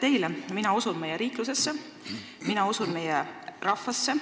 Teile vastupidi mina usun meie riiklusesse ja meie rahvasse.